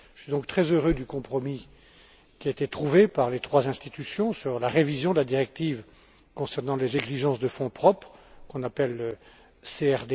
Je suis donc très heureux du compromis qui a été trouvé par les trois institutions sur la révision de la directive concernant les exigences de fonds propres, qu'on appelle CRD